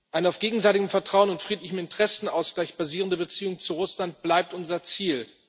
Eine auf gegenseitigem Vertrauen und friedlichem Interessenausgleich basierende Beziehung zu Russland bleibt unser Ziel.